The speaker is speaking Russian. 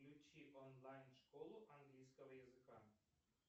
включи онлайн школу английского языка